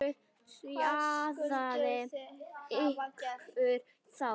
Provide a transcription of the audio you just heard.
LÁRUS: Hraðið ykkur þá!